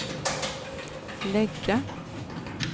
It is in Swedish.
lägga